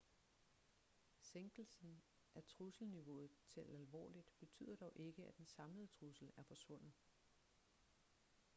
sænkelsen af trusselniveauet til alvorligt betyder dog ikke at den samlede trussel er forsvundet